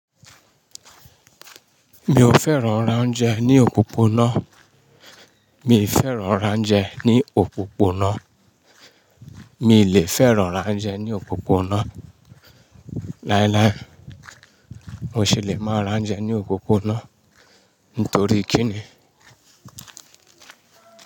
Mi ò fẹ́ràn rá ounjẹ ní òpópónà. Mi fẹ́ràn ránjẹ ní òpópónà. Mi lè fẹ́ràn ránjẹ ní òpópónà. Láíláí, mo se lè máa ránjẹ ní òpópónà. Nítorí kí ni?